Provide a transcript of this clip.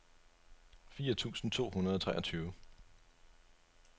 fire tusind to hundrede og treogtyve